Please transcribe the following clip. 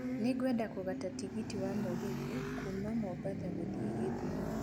Nĩ ngwenda kũgata tigiti wa mũgithi kuuma mombatha gũthiĩ githumo